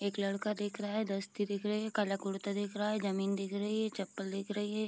एक लड़का देख रहा है दिख रहे हैं काला कुर्ता दिख रहा है जमीन दिख रही है चप्पल दिख रही है।